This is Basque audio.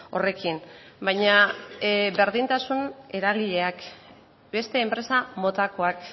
horrekin baina berdintasun eragileak beste enpresa motakoak